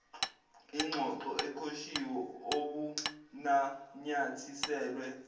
ingxoxo eqoshiwe obunanyathiselwe